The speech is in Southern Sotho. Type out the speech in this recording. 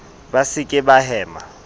ba se ke ba hema